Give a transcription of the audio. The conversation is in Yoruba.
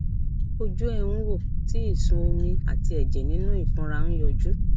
ojú ẹ ń wò tí ìsun omi àti ẹjẹ nínú ìfunra ń yọjú